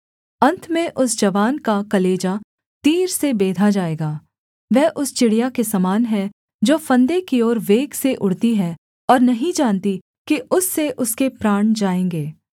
अन्त में उस जवान का कलेजा तीर से बेधा जाएगा वह उस चिड़िया के समान है जो फंदे की ओर वेग से उड़ती है और नहीं जानती कि उससे उसके प्राण जाएँगे